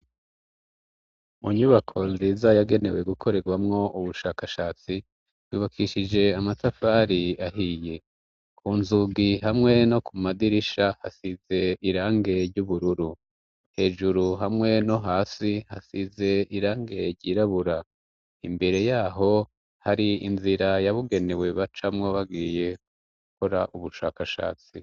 Munyubako nziza yagenewe gukorerwamwo ubushakashatsi wibakishije amatafari ahiye ku nzugi hamwe no ku madirisha hasize irangery' ubururu hejuru hamwe no hasi hasize irangerye irabura imbere yaho hi i inzira yabugenewe ba camwo bagiye gukora ubushakashatsi.